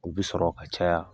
O bɛ sɔrɔ ka caya